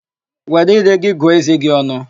Were íré gị gụọ ézé gị ọnụ!